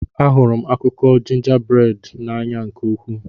Ahụrụ m akụkọ jingaberad n'anya nke ukwuu.